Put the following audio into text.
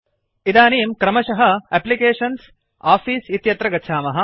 इदानीं क्रमशः एप्लिकेशन्सग्टॉफिस् इत्यत्र गच्छामः